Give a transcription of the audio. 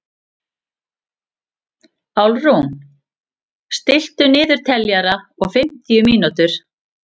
Álfrún, stilltu niðurteljara á fimmtíu mínútur.